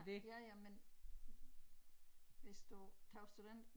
Ja ja men hvis du tog student